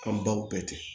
An baw bɛɛ tɛ